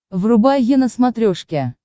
врубай е на смотрешке